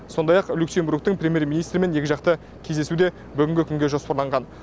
сондай ақ люксембургтің примьер министрімен екіжақты кездесу де бүгінгі күнге жоспарланған